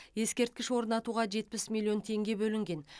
ескерткіш орнатуға жетпіс миллион теңге бөлінген